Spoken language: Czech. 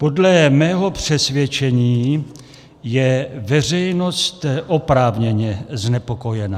Podle mého přesvědčení je veřejnost oprávněně znepokojena.